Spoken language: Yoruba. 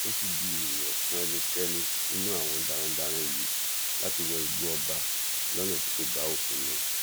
ó sì di èèwọ fún ẹnikẹni nínú àwọn darandaran yìí láti wọ igbó ọba lọnà tí kò bá òfin mu